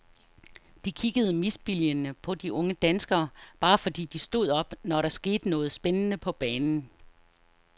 De kiggede misbilligende på de unge danskere bare fordi de stod op, når der skete noget spændende på banen.